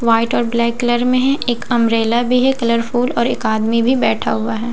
White और black colour में है एक अंब्रेला भी है कलरफुल और एक आदमी भी बैठ हुआ है।